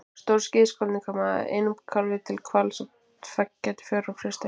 stóru skíðishvalirnir koma einum kálfi til hvals á tveggja til fjögurra ára fresti